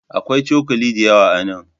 Akwai cokali da yawa a nan.